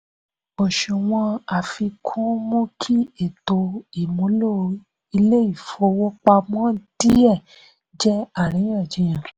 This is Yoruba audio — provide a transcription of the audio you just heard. òṣùwọ̀n àfikún mú kí ètò ìmúlò ilé-ìfowópamọ́ díẹ jẹ́ àríyànjiyàn.